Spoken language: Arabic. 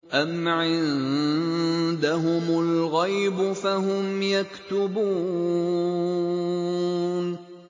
أَمْ عِندَهُمُ الْغَيْبُ فَهُمْ يَكْتُبُونَ